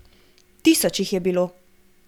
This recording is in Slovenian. Tisoč jih je bilo.